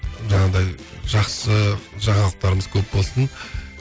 жаңағыдай жақсы жаңалықтарымыз көп болсын